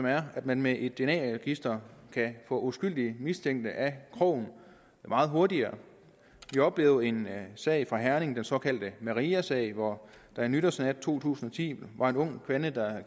er at man med et dna register kan få uskyldige mistænkte af krogen meget hurtigere vi oplevede en sag fra herning den såkaldte mariasag hvor der en nytårsnat i to tusind og ti var en ung kvinde der